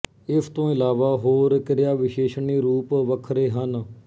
ਇਸ ਤੋਂ ਇਲਾਵਾ ਹੋਰ ਕਿਰਿਆ ਵਿਸ਼ੇਸ਼ਣੀ ਰੂਪ ਵੱਖਰੇ ਹਨ